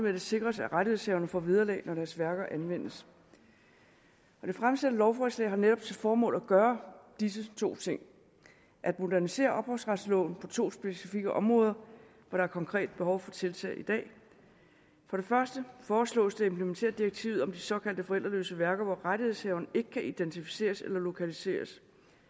at det sikres at rettighedshaverne får vederlag når deres værker anvendes og det fremsatte lovforslag har netop til formål at gøre disse to ting at modernisere ophavsretsloven på to specifikke områder hvor der konkret er behov for tiltag i dag for det første foreslås det at implementere direktivet om de såkaldte forældreløse værker hvor rettighedshaverne ikke kan identificeres eller lokaliseres